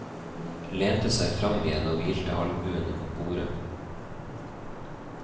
Lente seg fram igjen og hvilte albuene på bordet.